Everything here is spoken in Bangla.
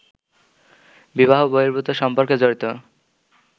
বিবাহ-বহির্ভূত সম্পর্কে জড়িত